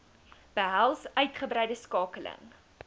behels uitgebreide skakeling